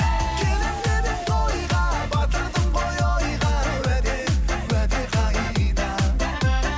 келемін деп едің тойға батырдың ғой ойға уәде уәде қайда